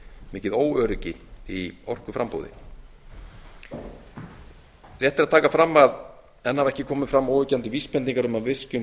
mikið óöryggi í orkuframboði rétt er að taka fram að enn hafa ekki komið fram óyggjandi vísbendingar um að virkjun